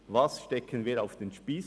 Was stecken wir an den Spiess?